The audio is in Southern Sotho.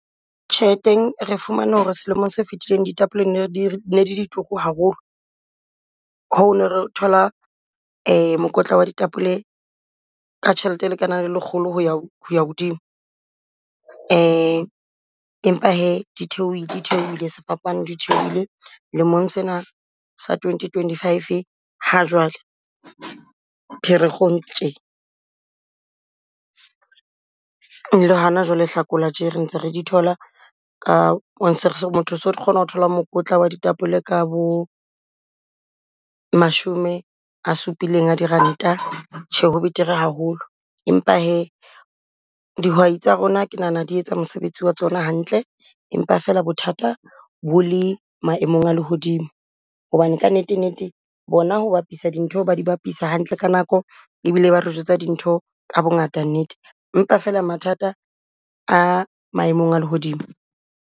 Tjheleteng re fumane ho re selemong se fetileng ditapole ne re, ne di di turu haholo. Hoo ne re thola mokotla wa ditapole ka tjhelete e lekanang le lekgolo ho ya, ho ya hodimo. Empa hee di theohile di theohile sefapano di theohile lemong sena sa twenty twenty five ha jwale Pherekgong tjhe. Le hana jwale Hlakola tje re ntse re di thola ka motho o so kgona ho thola mokotla wa ditapole ka bo mashome a supileng a diranta tjhe ho betere haholo. Empa hee dihwai tsa rona ke nahana di etsa mosebetsi wa tsona hantle, empa fela bothata bo le maemong a lehodimo. Hobane kannete nnete bona ho bapiswa dintho di bapisa hantle ka nako, e bile ba re jwetsa dintho ka bongata nnete, empa fela mathata a maemong a lehodimo.